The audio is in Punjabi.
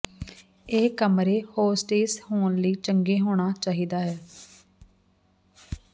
ਇਹ ਕਮਰੇ ਹੋਸਟੇਸ ਹੋਣ ਲਈ ਚੰਗੇ ਹੋਣਾ ਚਾਹੀਦਾ ਹੈ